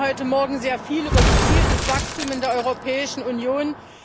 Wir reden heute Morgen sehr viel über gezieltes Wachstum in der Europäischen Union.